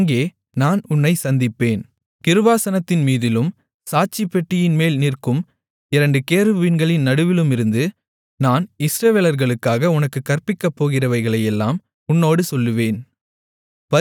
அங்கே நான் உன்னைச் சந்திப்பேன் கிருபாசனத்தின்மீதிலும் சாட்சிப்பெட்டியின்மேல் நிற்கும் இரண்டு கேருபீன்களின் நடுவிலுமிருந்து நான் இஸ்ரவேலர்களுக்காக உனக்குக் கற்பிக்கப் போகிறவைகளையெல்லாம் உன்னோடு சொல்லுவேன்